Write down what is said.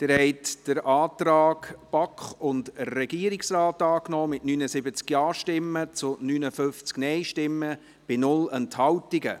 Sie haben den Antrag BaK und Regierungsrat angenommen, mit 79 Ja- zu 59 Nein-Stimmen bei 0 Enthaltungen.